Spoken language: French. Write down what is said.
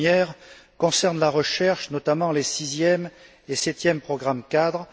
La première concerne la recherche, notamment les sixième et septième programmes cadres.